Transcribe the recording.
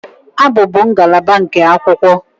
Abụ bụ ngalaba nke akwụkwọ